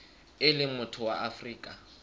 e leng motho wa afrika